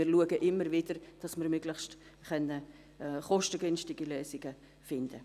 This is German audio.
Wir schauen immer wieder, dass wir möglichst kostengünstige Lösungen finden.